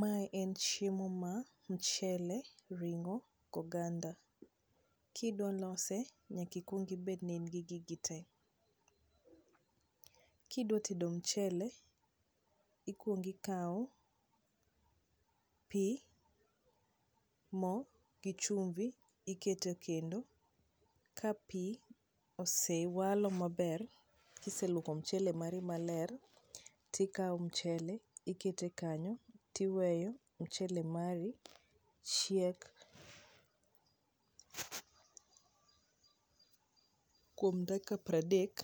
Mae en chiemo ma mchele, ring'o gi oganda. Kidwa lose nyaka ikuong ibed ni in gi gig te. Kidwa tedo mchele ikuong ikao pi, mo gi chumvi ikete e kendo, ka pi osewalo maber kiseluoko mchele mari maler, tikao mchele, tikete kanyo tiweyo mchele mari chiek kuom dakika pradek,